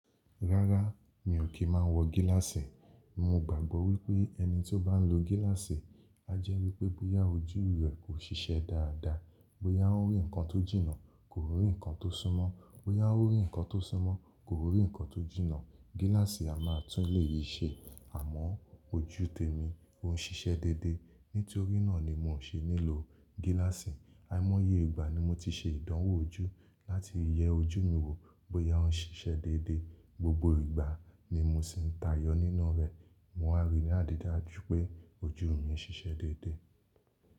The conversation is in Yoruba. Rárá, mi ò kí máa ń wọ gíláàsì. Mo gbàgbọ́ wípé ẹni tí ó bá ń lo gíláàsì, á jẹ́ wípé bóyá ojú rẹ̀ kò ṣiṣẹ́ dáadáa, bóyá ó rí ǹkan tó jìnnà, kò rí ǹkan tó súnmọ́, bóyá ó rí ǹkan tó súnmọ́, kò rí ǹkan tó jìnnà. Gíláàsì a máa tún ilé yìí ṣe, àmọ́ ojú tèmi ò ń ṣiṣẹ́ déédéé. Nítorí náà ni mi ò ṣe nílò gíláàsì. Àìmọye ìgbà ni mo ti ṣe ìdánwò ojú láti yẹ ojú mi wò bóyá ó ń ṣiṣẹ́ déédéé. Gbogbo ìgbà ni mo sì ń tayọ nínú rẹ̀. Mo wá rí ní àdídaju pé ojú mi ń ṣiṣẹ́ déédéé.